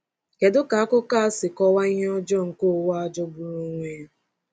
Kedu ka akụkọ a si kọwaa ihe ọjọọ nke ụwa a jọgburu onwe ya?